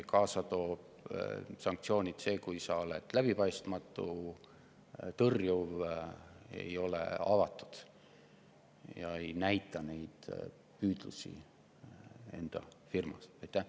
Sanktsioonid toob kaasa see, kui sa oled läbipaistmatu, tõrjuv, ei ole avatud ega näita üles neid püüdlusi oma firmas.